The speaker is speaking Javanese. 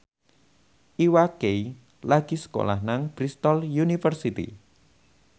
Iwa K lagi sekolah nang Bristol university